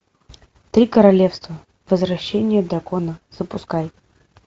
три королевства возвращение дракона запускай